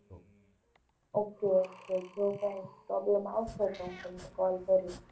Okay okay જો કાંઈ problem આવશે તો હું તમને call કરીશ.